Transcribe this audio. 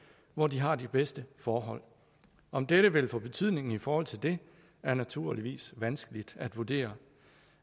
hvor de har de bedste forhold om dette vil få betydning i forhold til det er naturligvis vanskeligt at vurdere